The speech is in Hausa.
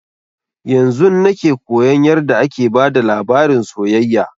Yanzun nake koyan yarda ake bada labarin soyayya